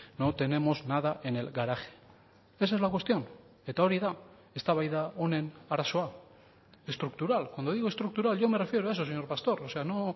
no tenemos nada en el garaje esa es la cuestión eta hori da eztabaida honen arazoa estructural cuando digo estructural yo me refiero a eso señor pastor o sea no